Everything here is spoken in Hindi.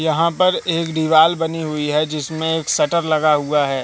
यहां पर एक दीवाल बनी हुई है जिसमें एक शटर लगा हुआ है।